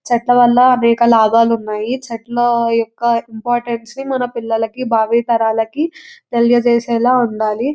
చెట్ల వల్ల అనేక లాభాలు ఉన్నాయి చెట్లు యొక్క ఇంపార్టెన్స్ ని మన పిల్లలకి భావితరాలకి తెలియజేసేలా ఉండాలి.